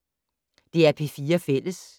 DR P4 Fælles